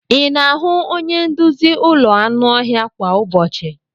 Ị na-ahụ onye nduzi ụlọ anụ ọhịa kwa ụbọchị?